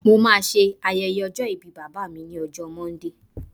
mo ma se ayẹyẹ ọjọ ìbí bàbá mi ni ọjọ monday